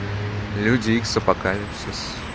люди икс апокалипсис